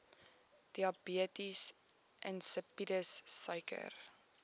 diabetes insipidus suiker